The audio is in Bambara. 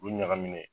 Olu ɲagaminnen